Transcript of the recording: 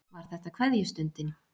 Var þetta kveðjustundin?